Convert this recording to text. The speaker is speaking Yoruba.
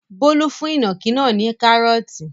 Bólú fún ìnàkí náà ní kárọ́ọ́tì.